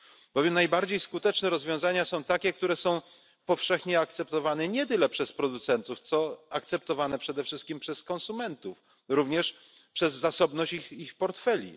Bowiem najbardziej skuteczne rozwiązania to takie, które są powszechnie akceptowane nie tyle przez producentów, co przede wszystkim przez konsumentów, również przez zasobność ich portfeli.